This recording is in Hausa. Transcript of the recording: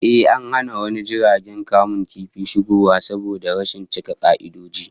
A'a, an hana wani jirgin kamun kifi shigowa saboda rashin cika ka'idoji